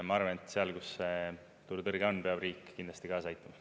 Ma arvan, et seal, kus see turutõrge on, peab riik kindlasti kaasa aitama.